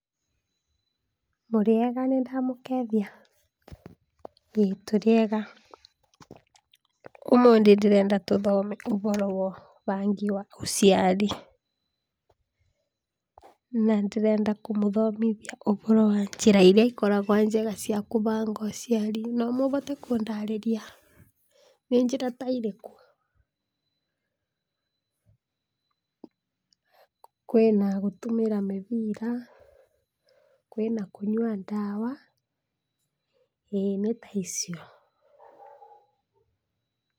''Mũrĩega nĩndamũkeithia? ĩĩ tũrĩega, ũmũthĩ ndĩrenda tũthome ũhoro wa ũbangi wa ũciari, na ndĩrenda kũmũthomithia ũhoro wa njĩra iria ikoragwa njega cia kũbanga ũciari, no ũhote kũndarĩria nĩ njĩra ta irĩkũ? kwĩna gũtũmĩra mĩbira, kwĩna ndawa, ĩĩ nĩ ta icio ''.